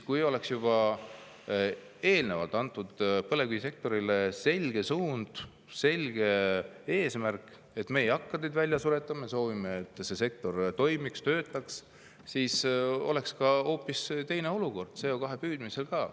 Kui oleks juba eelnevalt antud põlevkivisektorile selge suund, selge eesmärk, et me ei hakka teid välja suretama, me soovime, et see sektor toimiks, töötaks, siis oleks hoopis teine olukord CO2 püüdmisel ka.